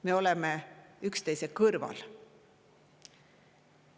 Me oleme üksteise kõrval.